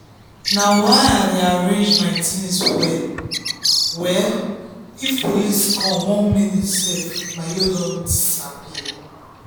na why i dey arrange my things well-well if police come one minute self my load don disappear.